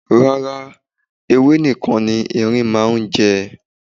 Rárá, ewé nìkan ni ẹrin máa hún jẹ.